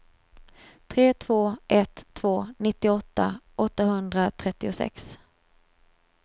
tre två ett två nittioåtta åttahundratrettiosex